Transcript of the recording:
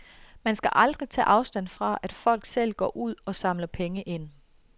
Man skal aldrig tage afstand fra, at folk selv går ud og samler penge ind.